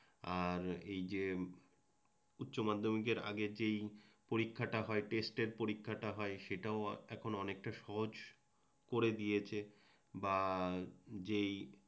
আর এই যে উচ্চমাধ্যমিকের আগে যেই পরীক্ষাটা হয় টেস্টের পরীক্ষাটা হয় সেটাও এখন অনেকটা সহজ করে দিয়েছে বা যেই